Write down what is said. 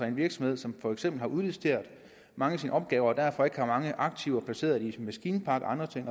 en virksomhed som for eksempel har udliciteret mange af sine opgaver og derfor ikke har mange aktiver placeret i en maskinpark og andre ting